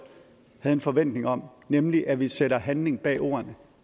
havde en forventning om nemlig at vi sætter handling bag ordene